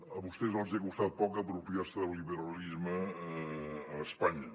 a vostès els hi ha costat poc apropiar se del liberalisme a espanya